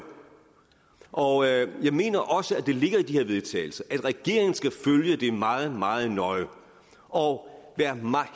og jeg mener også at der ligger i de til vedtagelse at regeringen skal følge det meget meget nøje og være